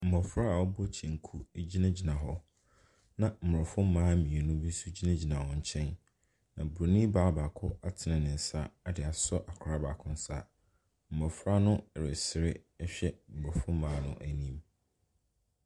Mmɔfra a abɔ kyɛnku gyinagyina hɔ na aborɔfo mmaa mmienu nso gyinagyina hɔn nkyɛn, na bronin baa baako atene ne nsa de asɔ abɔfra baako nsa, mmɔfra no ɛresere ɛhwɛ aborɔfo mmaa no anim.